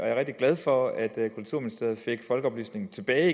er rigtig glad for at kulturministeriet fik folkeoplysningen tilbage